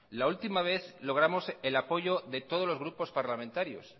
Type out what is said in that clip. la última vez logramos el apoyo de todos los grupos parlamentarios